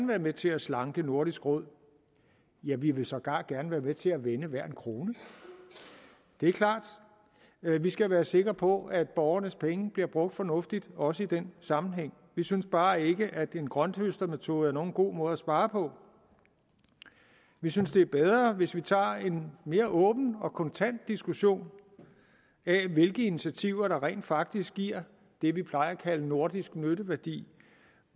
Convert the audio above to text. være med til at slanke nordisk råd ja vi vil sågar gerne være med til at vende hver en krone det er klart at vi skal være sikre på at borgernes penge bliver brugt fornuftigt også i den sammenhæng vi synes bare ikke at en grønthøstermetode er nogen god måde at spare på vi synes det er bedre hvis vi tager en mere åben og kontant diskussion af hvilke initiativer der rent faktisk giver det vi plejer at kalde nordisk nytteværdi